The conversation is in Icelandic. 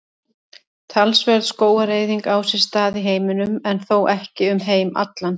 Talsverð skógareyðing á sér stað í heiminum en þó ekki um heim allan.